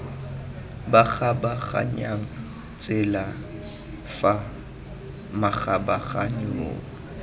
ba kgabaganyang tsela fa makgabaganyong